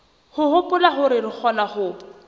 hopola hore re kgona ho